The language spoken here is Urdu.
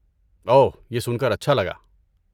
اوہ، یہ سن کر اچھا لگا۔